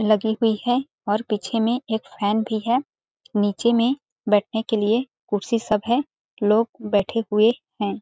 --लगी हुई है और पीछे में एक फैन भी है नीचे में बैठने के लिए कुर्सी सब है लोग बैठे हुए हैं।